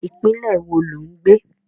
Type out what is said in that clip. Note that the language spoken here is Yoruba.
Ìpínlẹ̀ wo lo ń gbé?